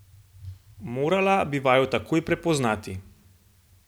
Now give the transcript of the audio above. Morala bi vaju takoj prepoznati!